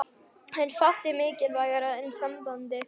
En fátt er mikilvægara en sambandið.